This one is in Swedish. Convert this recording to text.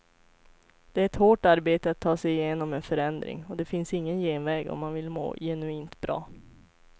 Det är ett hårt arbete att ta sig igenom en förändring, och det finns ingen genväg om man vill må genuint bra.